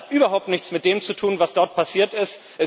Das hat überhaupt nichts mit dem zu tun, was dort passiert ist.